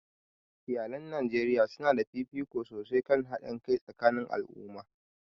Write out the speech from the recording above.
Iyalan Najeriya su na ba da fifiko sosai kan haɗin kai tsakanin al'umma.